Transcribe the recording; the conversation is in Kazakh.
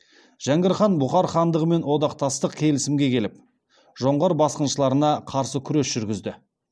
жәңгір хан бұхар хандығымен одақтастық келісімге келіп жоңғар басқыншыларына қарсы күрес жүргізді